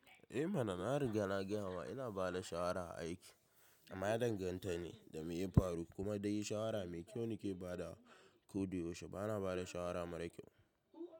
Eh mana na riga na gaya ma ina ba da shawara a aiki amma ya danganta ne da me ya faru. Kuma dai shawara mai kyau nake ba da ko da yaushe. Bana ba da shawara mara kyau.